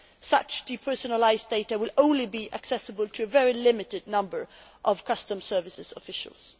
Such depersonalised data will only be accessible to a very limited number of customs services officials.